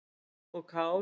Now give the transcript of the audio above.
og kál.